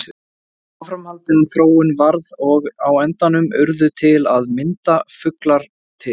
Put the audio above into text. Áframhaldandi þróun varð og á endanum urðu til að mynda fuglar til.